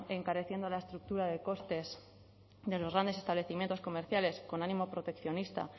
encareciendo la estructura de costes de los grandes establecimientos comerciales con ánimo proteccionista